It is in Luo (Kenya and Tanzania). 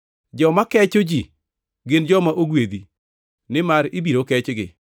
Joma kecho ji gin joma ogwedhi, nimar ibiro kechgi.